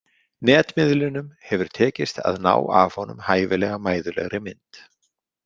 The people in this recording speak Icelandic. Netmiðlunum hefur tekist að ná af honum hæfilega mæðulegri mynd.